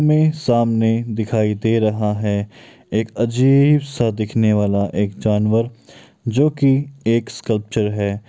हमें सामने दिखाई दे रहा है एक अजीब सा दिखने वाला एक जानवर जो की एक स्कल्प्चर है।